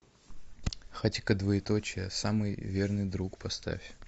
хатико двоеточие самый верный друг поставь